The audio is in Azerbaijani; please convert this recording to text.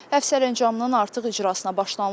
Əfv sərəncamının artıq icrasına başlanılıb.